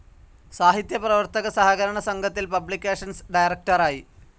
സാഹിത്യ പ്രവർത്തക സഹകരണ സംഘത്തിൽ പബ്ലിക്കേഷൻസ്‌ ഡയറക്ടറായി.